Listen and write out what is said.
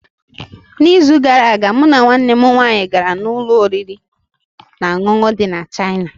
N’izu gara aga mụ na nwanne m nwanyị gara ụlọ oriri na ọṅụṅụ ndị Chịana.